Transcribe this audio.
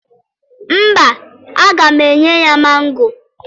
Mba, aga m enye ya mango.